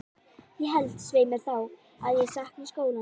Ég held, svei mér þá, að ég sakni skólans.